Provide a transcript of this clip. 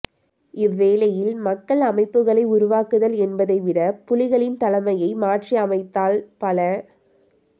இவ்வேளையில் மக்கள் அமைப்புக்களை உருவாக்குதல் என்பதை விட புலிகளின் தலைமையை மாற்றியமைத்தால் பல